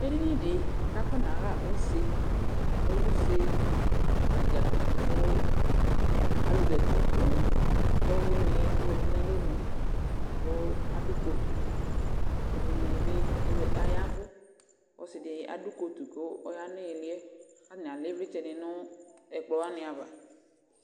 Edini dɩ kʋ akɔnaɣa use Ɔlɛ useɣa dza kʋ alʋ zati poo Ɔlʋwɩnɩ yɛ ɔzati nʋ alɔnu kʋ adʋ kotu Ɛdɩnɩ bɩ aza aya ɛvʋ kʋ ɔsɩ dɩ adʋ kotu kʋ ɔya nʋ ɩɩlɩ yɛ kʋ atanɩ alɛ ɩvlɩ dɩ nʋ ɛkplɔ wanɩ ava